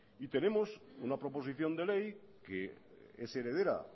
y tenemos una proposición de ley que es heredera